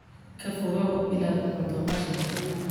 Ka fogow inaad cunto qashinka.